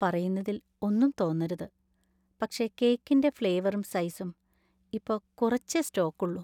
പറയുന്നതിൽ ഒന്നും തോന്നരുത്, പക്ഷേ കേക്കിന്‍റെ ഫ്ലേവറും സൈസും ഇപ്പൊ കുറച്ചേ സ്റ്റോക്കുള്ളൂ.